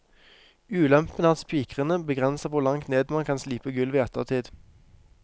Ulempen er at spikrene begrenser hvor langt ned man kan slipe gulvet i ettertid.